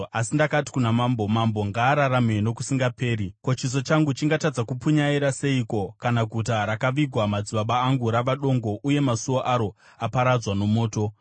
asi ndakati kuna mambo, “Mambo ngaararame nokusingaperi! Ko, chiso changu chingatadza kupunyaira seiko kana guta rakavigwa madzibaba angu rava dongo uye masuo aro aparadzwa nomoto?”